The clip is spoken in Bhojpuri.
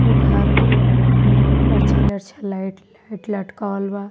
वो घर के में लच्छा-लच्छा लाइट लाइट लटकावल बा।